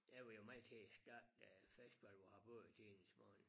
Jeg var jo meget her i starten af festivalen på Harboøre i tidernes morgen